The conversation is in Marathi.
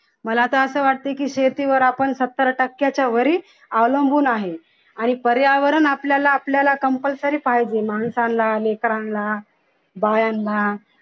मला आता असं वाटतंय की शेतीवर आपण सत्तर टक्याच्या वर ही अवलंबून आहे आणि पर्यावरण आपल्याला आपल्याला compulsory पाहिजे माणसांना लेकरांना बायांना